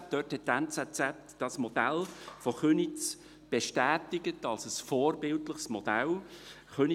Dort hat die «NZZ» dieses Modell von Köniz als ein vorbildliches Modell bestätigt.